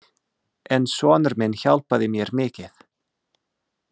En sonur minn hjálpaði mér mikið.